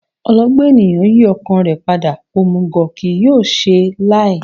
Ọlọgbọ́n ènìyàn yí ọkàn rẹ̀ padà, òmùgọ̀ kì yóò ṣe láé